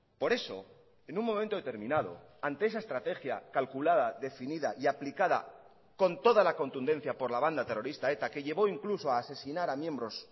por eso en un momento determinado ante esa estrategia calculada definida y aplicada con toda la contundencia por la banda terrorista eta que llevó incluso a asesinar a miembros